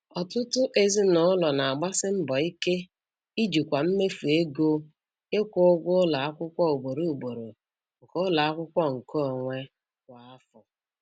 Ọtụtụ ezinụlọ na-agbasi mbọ ike ijikwa mmefu ego ịkwụ ụgwọ ụlọ akwụkwọ ugboro ugboro nke ụlọ akwụkwọ nkeonwe kwa afọ